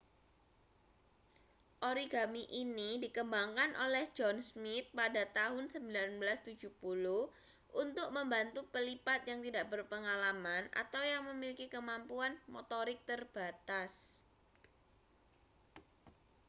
origami ini dikembangkan oleh john smith pada tahun 1970 untuk membantu pelipat yang tidak berpengalaman atau yang memiliki kemampuan motorik terbatas